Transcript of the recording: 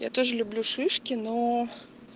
я тоже люблю шишки но